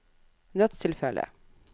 nødstilfelle